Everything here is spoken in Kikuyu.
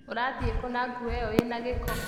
Ũrathiĩ kũna nguo ĩyo ĩna gĩko?